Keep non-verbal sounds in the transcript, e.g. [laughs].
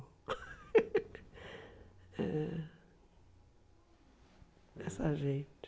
[laughs] É... Dessa gente.